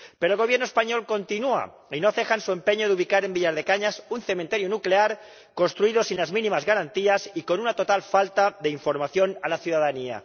Pero el Gobierno español continúa y no ceja en su empeño de ubicar en Villar de Cañas un cementerio nuclear construido sin las garantías mínimas y con una total falta de información a la ciudadanía.